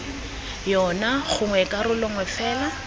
yona gongwe karolo nngwe fela